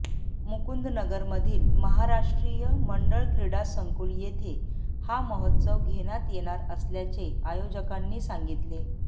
मुकुंदनगरमधील महाराष्ट्रीय मंडळ क्रीडा संकुल येथे हा महोत्सव घेण्यात येणार असल्याचे आयोजकांनी सांगितले